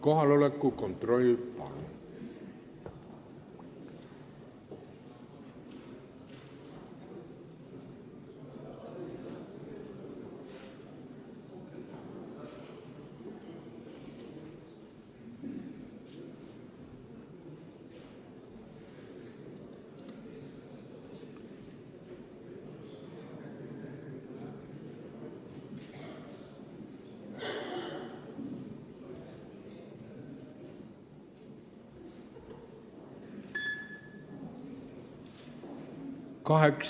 Kohaloleku kontroll, palun!